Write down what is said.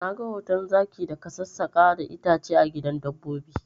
Na ga hoton zaki da ka sassaka da itace a gidan dabbobi